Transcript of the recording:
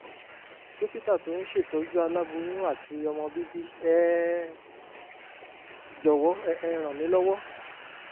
dókítà tó ń ṣètọ́jú aláboyún àti ọmọ bíbí ẹ jọ̀wọ́ ẹ ràn mí lọ́wọ́